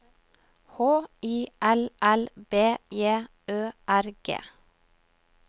H I L L B J Ø R G